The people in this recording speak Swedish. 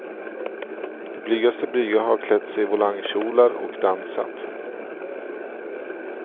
De blygaste blyga har klätt sig volangkjolar och dansat.